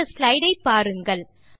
இந்த ஸ்லைடு ஐ பாருங்கள்